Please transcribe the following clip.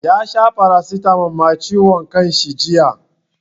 Ya sha paracetamol ma ciwon kanshi jiya.